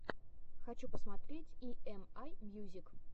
хочу посмотреть и эм ай мьюзик